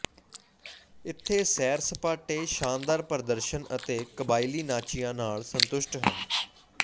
ਇੱਥੇ ਸੈਰ ਸਪਾਟੇ ਸ਼ਾਨਦਾਰ ਪ੍ਰਦਰਸ਼ਨ ਅਤੇ ਕਬਾਇਲੀ ਨਾਚੀਆਂ ਨਾਲ ਸੰਤੁਸ਼ਟ ਹਨ